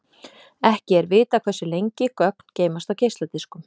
Ekki er vitað hversu lengi gögn geymast á geisladiskum.